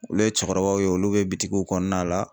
Olu ye cɛkɔrɔbaw ye olu bɛ bitigiw kɔnɔna la.